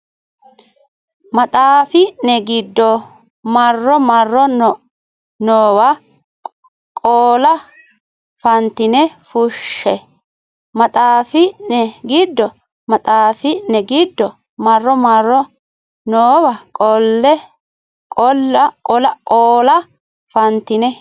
maxaafi ne giddo marro marro noowa qoola fantine fushshe maxaafi ne giddo maxaafi ne giddo marro marro noowa qoola fantine.